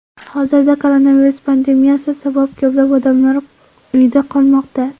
Hozirda koronavirus pandemiyasi sabab ko‘plab odamlar uyda qolmoqda.